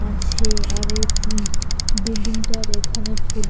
আছে আর এ ফু বিল্ডিং -টার এখানে ফুলে--